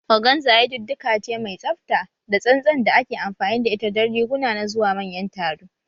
Organza yadudduka ce mai tsafta da tsantsan da ake amfani da ita don riguna na zuwa manyan taro